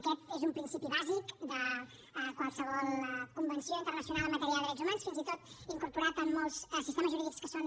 aquest és un principi bàsic de qualsevol convenció internacional en matèria de drets humans fins i tot incorporat en molts sistemes jurídics que són